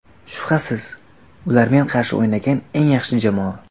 Shubhasiz, ular men qarshi o‘ynagan eng yaxshi jamoa.